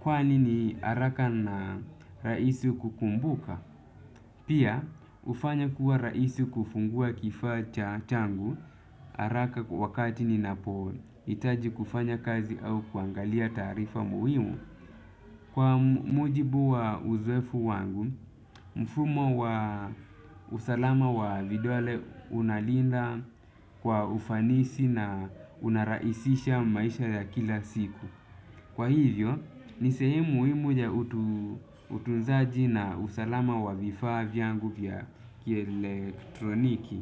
kwani ni araka na raisi kukumbuka. Pia, ufanya kuwa raisi kufungua kifaa cha changu araka wakati ninapoitaji kufanya kazi au kuangalia taarifa muhimu. Kwa mujibu wa uzwefu wangu, mfumo wa usalama wa vidole unalinda kwa ufanisi na unaraisisha maisha ya kila siku. Kwa hivyo, nisehemu muhimu ja utunzaji na usalama wa vifaa vyangu vya kielektroniki.